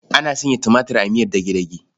Ana sanya tumatir a miyar dage-dage.